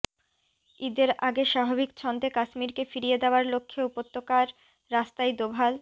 ইদের আগে স্বাভাবিক ছন্দে কাশ্মীরকে ফিরিয়ে দেওয়ার লক্ষ্যে উপত্যকার রাস্তায় দোভাল